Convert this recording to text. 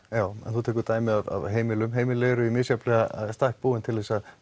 þú tekur dæmi af heimilum heimili eru mismunandi í stakk búin til að